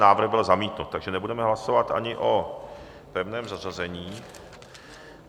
Návrh byl zamítnut, takže nebudeme hlasovat ani o pevném zařazení.